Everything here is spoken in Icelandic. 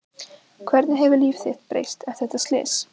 Hvernig hefur líf þitt breyst eftir þetta slys?